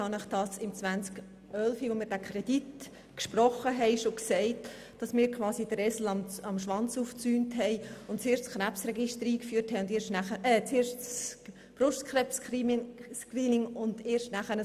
Ich habe Ihnen bereits im Jahr 2011, als wir den Kredit gesprochen haben, gesagt, dass wir so quasi den Esel am Schwanz aufgezäumt haben, indem wir das Brustkrebs-Screening vor dem Krebsregister eingeführt haben.